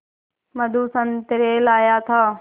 मधु संतरे लाया था